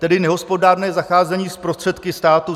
Tedy nehospodárné zacházení s prostředky státu?